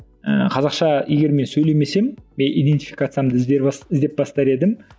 ііі қазақша егер мен сөйлемесем мен иденфикациямды іздеп бастар едім